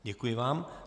Děkuji vám.